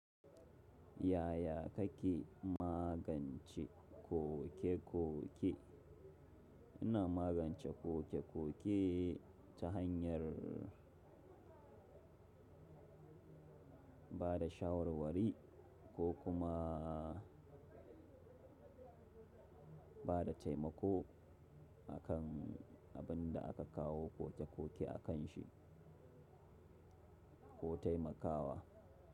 Yaya kake magance koke-koke? Ina magance koke-koke ta hanyar ba da shawarwari ko kuma ba da taimako akan abin da aka kawo koke-koke akanshi ko taimakawa.